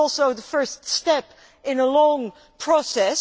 It is also the first step in a long process.